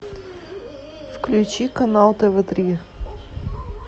включи канал тв три